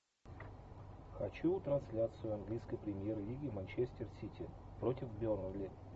хочу трансляцию английской премьер лиги манчестер сити против бернли